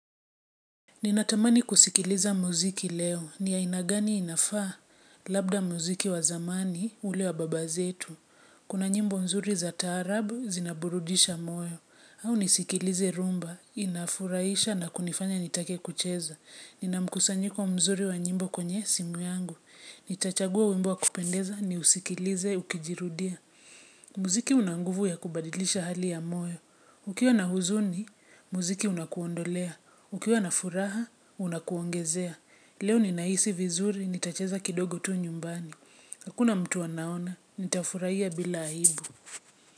Ninatamani kusikiliza muziki leo, ni aina gani inafaa, labda muziki wa zamani, ule wa baba zetu. Kuna nyimbo mzuri za taarabu, zinaburudisha moyo, au nisikilize rumba, inafuraisha na kunifanya nitake kucheza. Nina mkusanyiko mzuri wa nyimbo kwenye simu yangu, nitachagua wimbo wa kupendeza, niusikilize, ukijirudia. Muziki unanguvu ya kubadilisha hali ya moyo. Ukiwa na huzuni, muziki unakuondolea. Ukiwa na furaha, unakuongezea. Leo ninahisi vizuri, nitacheza kidogo tu nyumbani. Hakuna mtu anaona, nitafurahia bila aibu.